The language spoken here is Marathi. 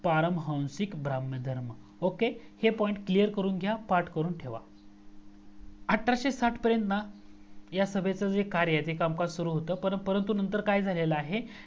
परम हंसीक काव्यग्रह ok हे points clear करून घ्या पाठ करून ठेवा. आठराशे साठ पर्यन्त ना ह्या सभेचे जे कार्य जे कामकाज सुरू होतं परंतु नंतर काय झालेला आहे